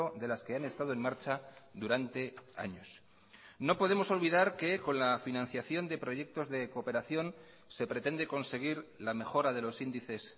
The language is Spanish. de las que han estado en marcha durante años no podemos olvidar que con la financiación de proyectos de cooperación se pretende conseguir la mejora de los índices